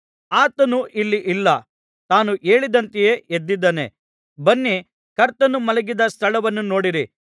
ಆತನು ಇಲ್ಲಿ ಇಲ್ಲ ತಾನು ಹೇಳಿದಂತೆಯೇ ಎದ್ದಿದ್ದಾನೆ ಬನ್ನಿ ಕರ್ತನು ಮಲಗಿದ್ದ ಸ್ಥಳವನ್ನು ನೋಡಿರಿ